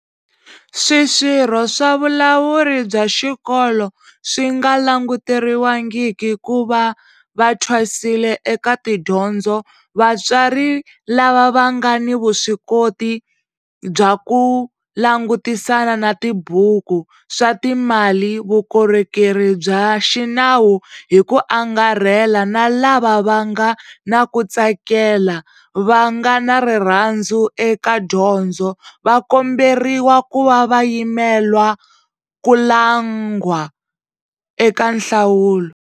Swi swirho swa vulawuri bya xikolo swi nga languteriwangiki ku va va thwasile eka tidyondzo vatswari lava va nga ni vuswikoti bya ku langutisana na tibuku, swa timali, vukorhokeri bya xinawu hi ku angarhela na lava va nga na ku tsakela, va nga na rirhandzu eka dyondzo, va komberiwa ku va vayimelwa kulanghwa eka nhlawulo.